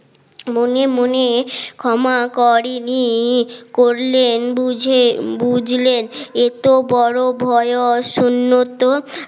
মনে মনে ক্ষমা করেনি করলেন বুঝে বুঝলেন এত বড় বয়স সুন্নত